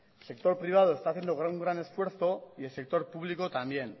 el sector privado está haciendo un gran esfuerzo y el sector público también